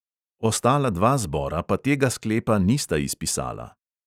Ostala dva zbora pa tega sklepa nista izpisala.